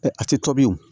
a tɛ tobi o